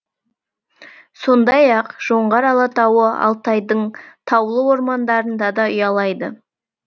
сондай ақ жоңғар алатауы алтайдың таулы ормандарында да ұялайды